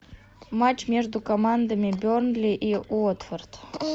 матч между командами бернли и уотфорд